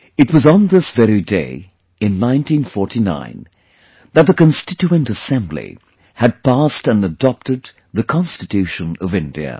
It was on this very day in 1949 that the Constituent Assembly had passed and adopted the Constitution of India